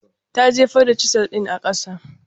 Ta jefar da Chisel ɗin a kasa.